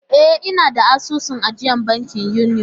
E, ina da asusun ajiyar banki Union.